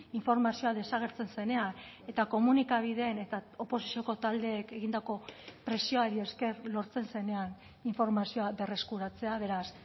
informazioa desagertzen zenean eta komunikabideen eta oposizioko taldeek egindako presioari esker lortzen zenean informazioa berreskuratzea beraz